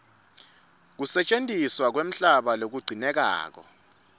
kusetjentiswa kwemhlaba lokugcinekako